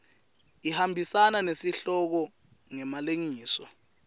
ihambisana nesihloko ngemalengiso